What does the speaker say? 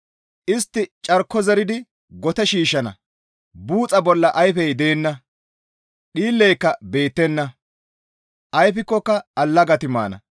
Istti carko zeridi gote shiishshana; buuxa bolla ayfey deenna; dhiilleyka beettenna; ayfikkoka allagati maana.